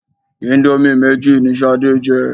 Íńdómì méjì ni Ṣadé jẹ.